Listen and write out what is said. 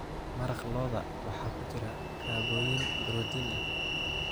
Maraq lo'da waxaa ku jira kaabooyin borotiin ah.